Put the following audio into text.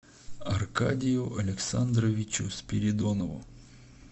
аркадию александровичу спиридонову